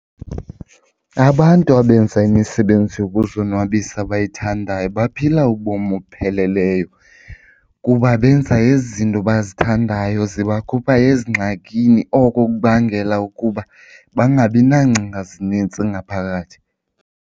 Abantu abenza imisebenzi yokuzonwabisa abayithandayo baphila ubomi obupheleleyo kuba benza ezi zinto bazithandayo, zibakhupha ezingxakini. Oko kubangela ukuba bangabi nangcinga zinintsi ngaphakathi.